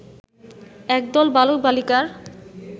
একদল বালক-বালিকার